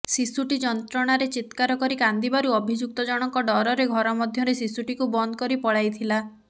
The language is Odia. ଶିଶୁଟି ଯନ୍ତ୍ରଣାରେ ଚିତ୍କାର କରି କାନ୍ଦିବାରୁ ଅଭିଯୁକ୍ତ ଜଣଙ୍କ ଡ଼ରରେ ଘର ମଧ୍ୟରେ ଶିଶୁଟିକୁ ବନ୍ଦ କରିପଳାଇଥିଲା